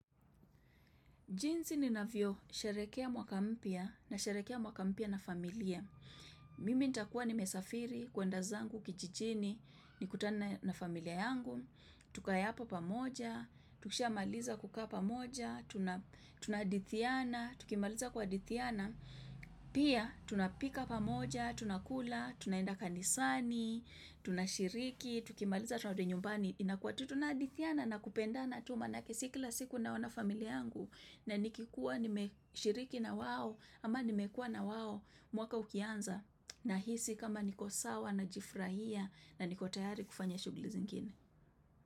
Jinsi ninavyosherekea mwaka mpya nasherekea mwaka mpya na familia. Mimi ntakuwa nimesafiri, kwenda zangu, kijijini, nikutane na familia yangu. Tukae hapo pamoja, tukishiamaliza kukaa pamoja, tunahadithiana, tukimaliza kuhadithiana. Pia, tunapika pamoja, tunakula, tunaenda kanisani, tunashiriki, tukimaliza tunarudi nyumbani. Inakua tunahadithiana na kupendana tu manake si kila siku naona familia yangu na nikikuwa nimeshiriki na wao ama nimekuwa na wao mwaka ukianza nahisi kama niko sawa najifurahia na niko tayari kufanya shughuli zingine.